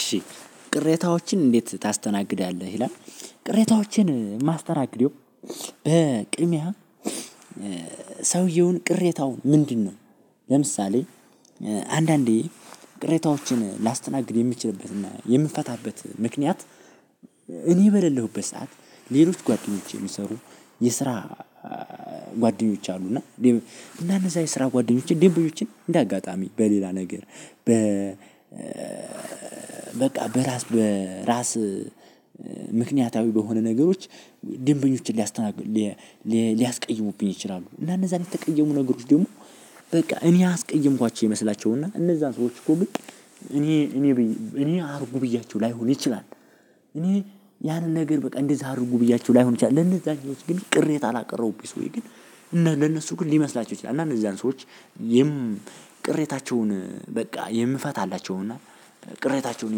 እሺ። ቅሬታዎችን እንዴት ታስተናግዳለህ ይላል? ቅሬታዎችን ማስተናግደው። በቅድሚያ ሰውየውን ቅሬታው ምንድነው? ለምሳሌ አንዳንዴ ቅሬታዎችን ላስተናግድ የሚችልበት እና የምትፈታበት ምክንያት። እኔ በሌለሁበት ሰዓት ሌሎች ጓደኞቼ የሚሰሩ የስራ ጓደኞች አሉ። እና እነዛ የስራ ጓደኞቼ ደንበኞችን እንደ አጋጣሚ በሌላ ነገር በ በቃ በራስ በራስ ምክንያታዊ በሆነ ነገሮች ደንበኞችን ሊያስቀይሙብኝ ይችላሉ። እና እነዛ ለተቀየሙ ነገሮች ደግሞ በቃ እኔ ያስቀየምኳቸው ይመስላቸው እና እነዛን ሰዎች እኮ እኔ እኔ እኔ አድርጉ ብያቸው ላይሆን ይችላል። እኔ ያንን ነገር በቃ እንደዛ አድርጉ ብያቸው ላይሆን ይችላል። ለእነዛኞቹ ግን ቅሬታ ላቀረቡብኝ ሰዎች ግን እነሱ ለነሱ ግን ሊመስላቸው ይችላል እነዛን ሰዎች የም ቅሬታቸውን በቃ የምፈታላቸውን እና ቅሬታቸውን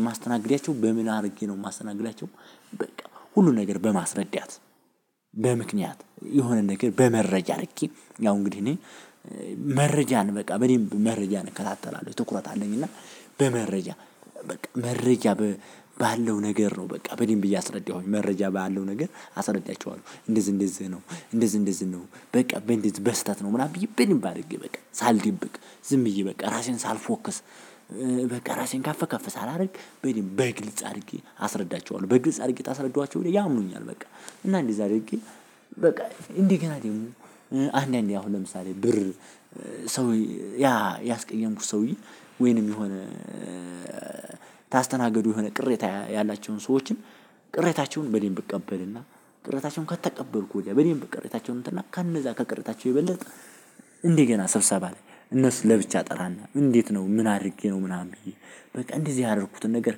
የማስተናግዳቸው በምን አድርጌ ነው የማስተናግዳቸው። በቃ ሁሉን ነገር በማስረዳት በምክንያት የሆነ ነገር በመረጃ ነክ ያው እንግዲህ እኔ መረጃን በቃ በደንብ መረጃን እከታተላለሁ ትኩረት አለኝ። እና በመረጃ በቃ መረጃ ባለው ነገር ነው በቃ በደንብ እያስረዳሁኝቼ መረጃ ባለው ነገር አስረዳቸዋለው። እንደዚህ እንደዚህ ነው እንደዚህ እንደዚህ ነው። በቃ በእንደዚህ በስህተት ነው ምናምን ብዬ በደንብ አድርጌ በቃ ሳልደብቅ ዝም ብዬ በቃ ራሴን ሳልፎክስ በቃ ራሴን ከፍከፍ ሳላደርግ በደንብ በግልጽ አድርጌ አስረዳቸዋለሁ። በግልጽ አድርጌ ካስረዳዋቸው ያምኑኛል። በቃ እና እንዲህ አድርጌ በቃ እንደገና አንዳንዴ አሁን ለምሳሌ ብር ሰው ያስቀምኩት ሰውዬ ወይንም የሆነ ታስተናግዱ የሆነ ቅሬታ ያላቸውን ሰዎችን ቅሬታቸውን በደንብ እቀበልና ቅሬታቸውን ከተቀበልኩ በደንብ ቅሬታቸው እንትን እና ከነዛ ከቅሬታቸው የበለጠ እንደ ገና ስብሰባ እነሱ ለብቻ እጠራና እንዴት ነው ምን አድርጌ ነው? ምናምን ብዬ በቃ እንደዚህ ያደረኩትን ነገር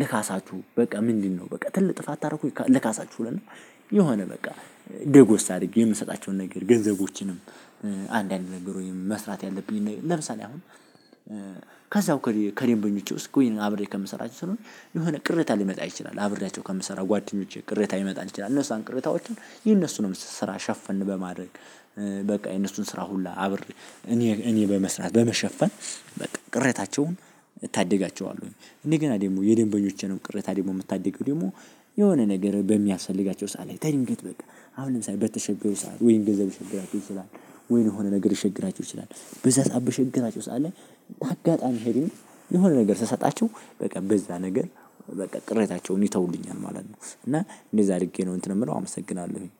ልካሳችሁ በቃ ምንድነው? በቃ ትልቅ ጥፋት ካረኩኝ ልካሳችሁ እልና። የሆነ በቃ ደጎስ አድርጌ የምሰጣቸውን ነገር ገንዘቦችንም። አንዳንድ ነገሮችንም መስራት ያለብኝ ለምሳሌ አሁን ከዛው ከደንበኞቼ ውስጥ ጎይን አብሬ ከምሰራቸው ስለሆነ የሆነ ቅሬታ ሊመጣ ይችላል። አብሬያቸው ከምሰራው ጓደኞቼ ቅሬታ ሊመጣ ይችላል። እነዛን ቅሬታዎችን የእነሱንም ስራ ሸፈን በማድረግ በቃ የእነሱን ስራ ሁላ አብሬ እኔ በመስራት በመሸፈን በቃ ቅሬታቸውን እታደጋቸዋለሁኝ። እደገና ደግሞ የደንበኞቼንም ቅሬታ ደግሞ የምታደገው ደግሞ የሆነ ነገር በሚያስፈልጋቸው ሰዓት ላይ ከድንገት በቃ አሁን ለምሳሌ በተቸገሩ ሰዓት ወይም ገንዘብ ሊቸግራቸው ይችላል። ወይም የሆነ ነገር ሊቸግራቸው ይችላል። በዛ ሰዓት በቸገራቸው ሰዓት ላይ አጋጣሚ ሄዱኝ የሆነ ነገር ስሰጣቸው በቃ በዛ ነገር በቃ ቅሬታቸውን ይተውልኛል ማለት ነው። እና እንደዛ አድርጌ ነው እንትን የምለው አመሰግናለሁኝ